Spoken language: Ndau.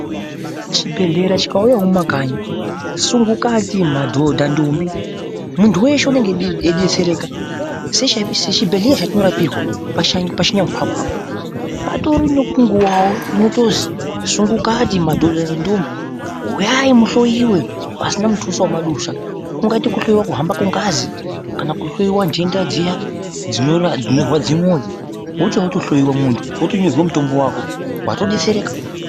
Chibhehlera chikauyawo mumakanyi ,sungukati, madhodha ndombi muntu weshe unenge aidetsereka ,sechibhehlre chatinorapirwa pachinyamukwakwa apa patoriwo nenguwawo unotozwi sungukati ,madhodha nedhombi uyai muhloyiwe pasina mutuso wamadusa kungaite kuhloyiwa kuhamba kwengazi kana kuhloyiwa nhenda dziya dzinorwadze mwoyo wotouya wotohloyiwa muntu wotonyorerwa mutombo wako watodetsereka.